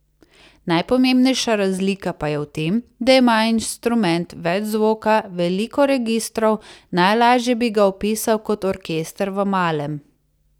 Najpomembnejša razlika pa je v tem, da ima instrument več zvoka, veliko registrov, najlaže bi ga opisal kot orkester v malem.